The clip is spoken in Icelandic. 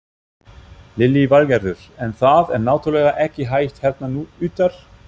Lillý Valgerður: En það er náttúrulega ekki hægt hérna utar?